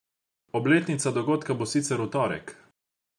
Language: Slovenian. Obletnica dogodka bo sicer v torek.